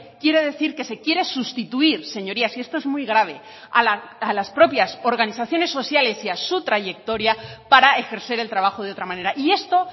quiere decir que se quiere sustituir señorías y esto es muy grave a las propias organizaciones sociales y a su trayectoria para ejercer el trabajo de otra manera y esto